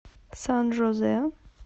сан жозе